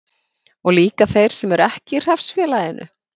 Og líka þeir sem ekki eru í hreppsfélaginu?